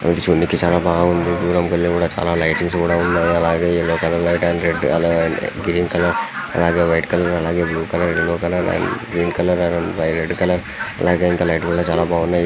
మాచి చూడడానికి చాలా బాగుంది. దూరం కెళ్ళి కూడా చాలా లైటింగ్స్ కూడా ఉన్నాయి అలాగే yellow colour light and red colour green colour white colour అలాగే blue colour yellow colour green colour red colour లైట్లు కూడా చాలా బాగున్నాయి.